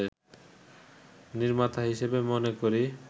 নির্মাতা হিসেবে মনে করি